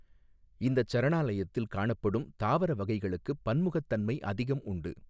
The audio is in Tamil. இந்தச் சரணாலயத்தில் காணப்படும் தாவர வகைகளுக்குப் பன்முகத்தன்மை அதிகம் உண்டு.